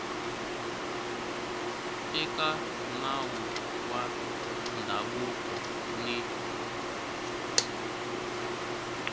eka nawu wa ndhavuko ni